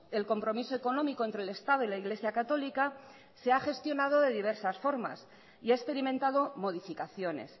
el compromiso económico entre el estado y la iglesia católica se ha gestionado de diversas formas y ha experimentado modificaciones